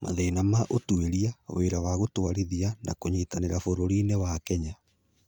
Mathĩna ma Ũtuĩria, Wĩra wa Gũtũũrithia, na Kũnyitanĩra bũrũriinĩ wa Kenya